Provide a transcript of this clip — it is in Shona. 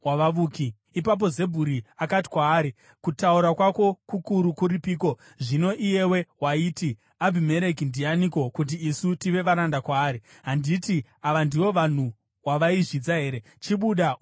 Ipapo Zebhuri akati kwaari, “Kutaura kwako kukuru kuripiko zvino, iyewe waiti, ‘Abhimereki ndianiko kuti isu tive varanda kwaari?’ Handiti ava ndivo vanhu vawaizvidza here? Chibuda undorwa navo!”